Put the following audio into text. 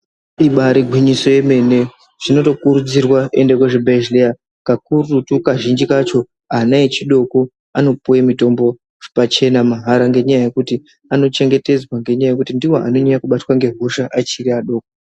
Ibarigwinyiso yemene zvinotokurudzirwa kuende kuzvibhedhlera kakurutu kazhinji kacho ana echidoko anopuve mutombo pachena mahara. Ngenyaya yekuti anochengetedzwa ngenyaya yekuti ndivo anonyanya abatwa ngehosha achiri ana adoko.